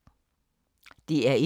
DR1